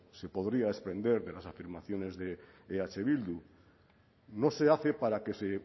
se podría desprender de las afirmaciones de eh bildu no se hace para que se